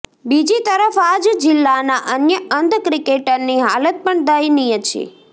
બીજી તરફ આ જ જિલ્લાના અન્ય અંધ ક્રિકેટરની હાલત પણ દયનીય છે